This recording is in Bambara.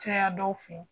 Caya dɔw fɛ